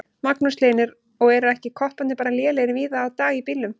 Magnús Hlynur: Og eru ekki kopparnir bara lélegir víða í dag á bílum?